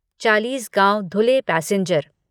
Chalisgaon Dhule passenger